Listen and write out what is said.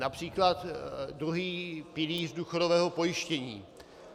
Například druhý pilíř důchodového pojištění.